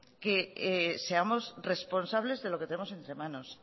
que seamos responsables de lo que tenemos entre manos